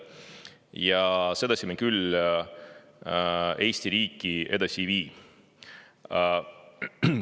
Ja sedasi me küll Eesti riiki edasi ei vii.